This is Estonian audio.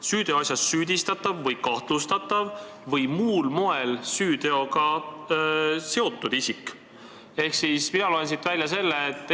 –, süüteoasjas süüdistatav või kahtlustatav või muul moel süüteoasjaga seotud.